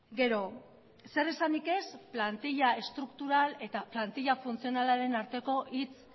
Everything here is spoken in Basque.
gero zer esanik ez plantila estruktural eta plantila funtzionalaren arteko hitz